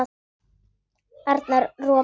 Arnar ropaði.